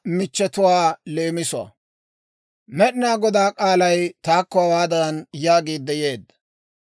Med'inaa Godaa k'aalay taakko hawaadan yaagiidde yeedda;